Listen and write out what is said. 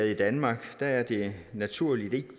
i danmark er det naturligvis